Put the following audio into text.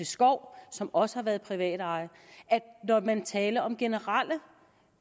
skov som også har været privatejet og når man taler om generelle